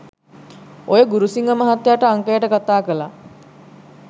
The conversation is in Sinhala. ඔය ගුරුසිංහ මහත්තයාට අංකයට කථා කළා